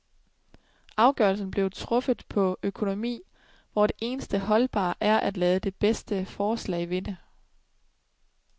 Afgørelsen blev truffet på økonomi, hvor det eneste holdbare er at lade det bedste forslag vinde.